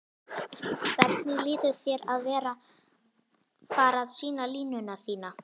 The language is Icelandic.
Hvernig líður þér að vera fara sýna línuna þína?